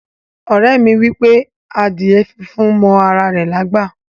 Ore mi wipe adíè fúnfún mọ ara rè lágbá.